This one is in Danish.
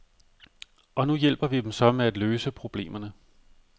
Og nu hjælper vi dem så med at løse problemerne.